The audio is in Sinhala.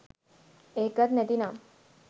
ඒකත් නැති නම්